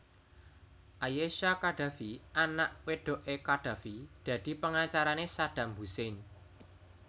Ayesha Khadafi anak wedoké Qaddafi dadi pengacarané Saddam Hussein